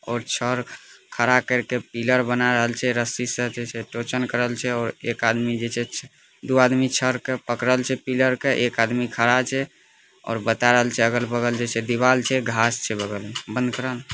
और चार खड़ा करके पिलर बनायल छै रस्सी से टोचन करल छै और एक आदमी दो आदमी पकड़ल छै पिलर का एक आदमी खड़ा छै और बता रहल छै अगल-बगल जैसे दीवार छै घास छैबगल में---